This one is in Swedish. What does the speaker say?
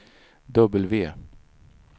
W